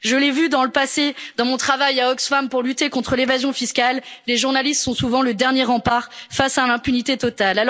Je l'ai vu dans le passé dans mon travail à Oxfam pour lutter contre l'évasion fiscale, les journalistes sont souvent le dernier rempart face à l'impunité totale.